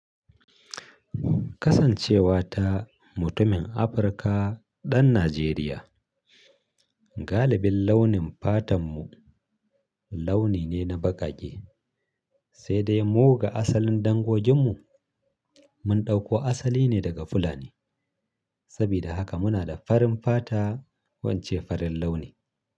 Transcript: Kasancewa ta mutumin Afirika ɗan Najeriya, galibin launin fatanmu launi ne na baƙaƙe, sai dai mu ga asalin dangoginmu. Mun ɗauko asali ne daga Fulani. Sabida haka muna da farin fata ko ince farin launi.